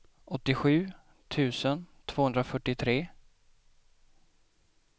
åttiosju tusen tvåhundrafyrtiotre